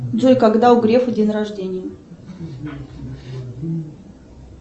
джой когда у грефа день рождения